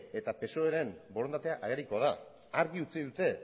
eta psoeren borondatea agerikoa da argi utzi dute